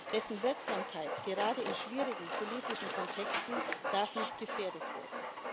Dessen Wirksamkeit gerade in schwierigen politischen Kontexten darf nicht gefährdet werden.